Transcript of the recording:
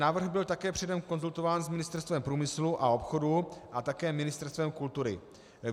Návrh byl také předem konzultován s Ministerstvem průmyslu a obchodu a také Ministerstvem kultury.